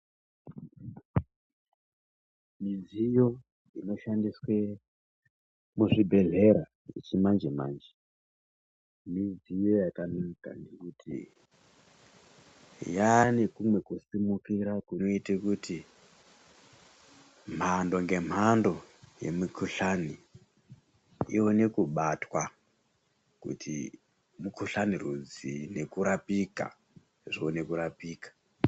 Midziyo inoshandiswe muzvibhedhlera yechimanje manje midziyo yakanaka nekuti yane kumwe kusimukira kunoite kuti mhando ngemhando yemikuhlani ione kubatwa kuti mukuhlani rudzii nekurapika zvione kurapika.